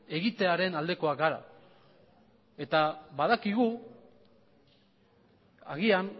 egitearen aldekoak gara eta badakigu agian